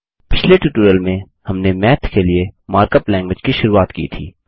पिछले ट्यूटोरियल में हमने माथ के लिए मार्कअप लैंगग्वेज की शुरुआत की थी